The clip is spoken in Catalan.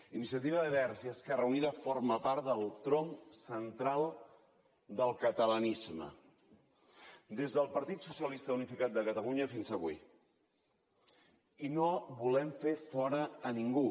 iniciativa verds i esquerra unida forma part del tronc central del catalanisme des del partit socialista unificat de catalunya fins avui i no en volem fer fora ningú